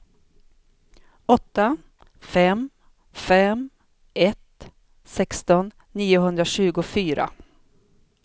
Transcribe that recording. åtta fem fem ett sexton niohundratjugofyra